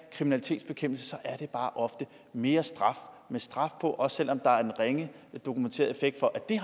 kriminalitetsbekæmpelse er det bare ofte mere straf med straf på også selv om der er en ringe dokumenteret effekt for at det